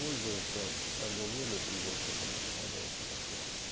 пользоваться они умели этим доступом тогда было хорошо